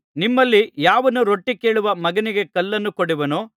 ನಿಮ್ಮಲ್ಲಿ ಯಾವನು ರೊಟ್ಟಿ ಕೇಳುವ ಮಗನಿಗೆ ಕಲ್ಲನ್ನು ಕೊಡುವನೋ